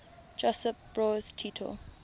josip broz tito